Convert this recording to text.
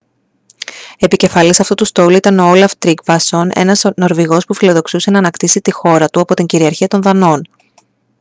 επικεφαλής αυτού του στόλου ήταν ο όλαφ τρίγκβασον ένας νορβηγός που φιλοδοξούσε να ανακτήσει τη χώρα του από την κυριαρχία των δανών